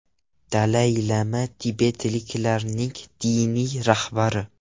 Dalay-lama tibetliklarning diniy rahbari.